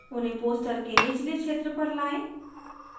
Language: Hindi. उन्हें poster के नीचले क्षेत्र पर लाएं